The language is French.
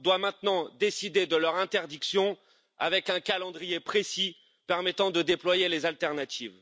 doit maintenant décider de leur interdiction avec un calendrier précis permettant de déployer les alternatives.